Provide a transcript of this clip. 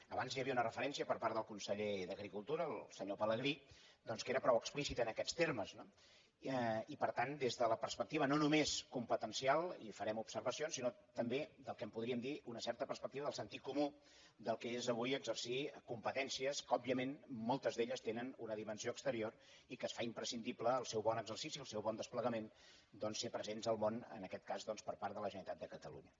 abans hi havia una referència per part del conseller d’agricultura el senyor pelegrí que era prou explícita en aquests termes i per tant des de la perspectiva no només competencial hi farem observacions sinó també del que en podríem dir una certa perspectiva del sentit comú del que és avui exercir competències que òbviament moltes d’elles tenen una dimensió exterior i que es fa imprescindible el seu bon exercici el seu bon desplegament doncs ser presents al món en aquest cas per part de la generalitat de catalunya